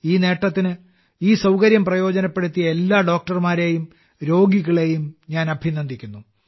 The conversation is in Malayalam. ഈ നേട്ടത്തിന് ഈ സൌകര്യം പ്രയോജനപ്പെടുത്തിയ എല്ലാ ഡോക്ടർമാരെയും രോഗികളെയും ഞാൻ അഭിനന്ദിക്കുന്നു